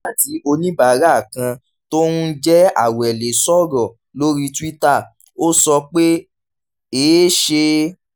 nígbà tí oníbàárà kan tó ń jẹ́ awele sọ̀rọ̀ lórí twitter ó sọ pé: èé ṣe